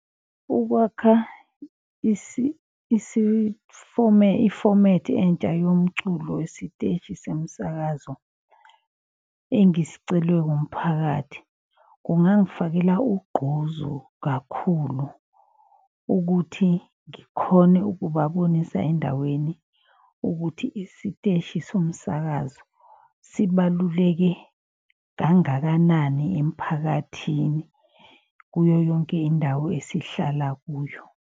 Ukwakha ifomethi entsha yomculo wesiteshi semsakazo engisicelwe umphakathi. Kungangifakela ugqozu kakhulu ukuthi ngikhone ukubabonisa endaweni. Ukuthi isiteshi somsakazo sibaluleke kangakanani emphakathini kuyo yonke indawo esihlala kuyo.